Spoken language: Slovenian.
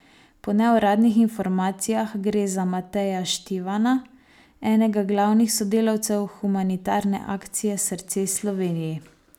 Po neuradnih informacijah gre za Mateja Štivana, enega glavnih sodelavcev humanitarne akcije Srce Sloveniji.